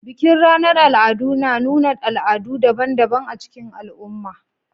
Bikin ranar al'adu na nuna al'adu daban-daban a cikin al'umma